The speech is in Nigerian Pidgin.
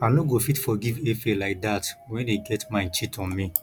i no go fit forgive efe like dat wen he get mind cheat on me